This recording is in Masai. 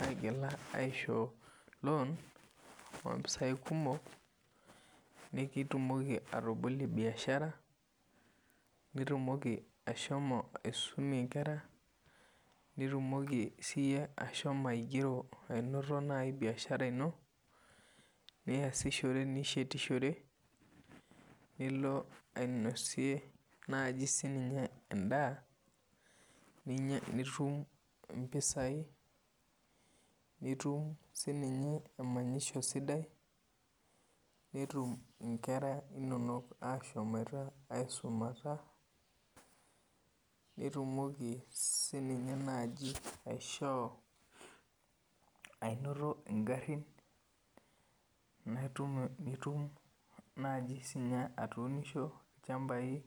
aigila aishoo lon ompisai kumok nitumoki atabolie biashara nitumoki ashomo aisumie ngra nitumoki siiyie ashomo ainoto naibbiashara ino niasishore nishetishore nilo ainosie naaji siininye en'daa nitum impisai nitum siininye emanyisho sidai netum ingera inono ashomoita aisumata nitumoki siininye naaji aishoo ainoto ingharhin nitum naaji siininye atuunisho ilchambai